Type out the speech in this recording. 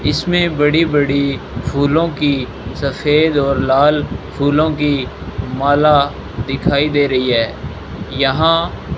इसमें बड़ी बड़ी फूलों की सफेद और लाल फूलों की माला दिखाई दे रही है यहां --